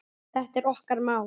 Þetta er okkar mál.